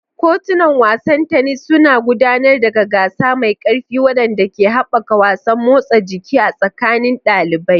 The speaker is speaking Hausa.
Kotunan wasan tennis suna gudanar da gasa mai ƙarfi waɗanda ke haɓaka wasan motsa jiki a tsakanin ɗalibai.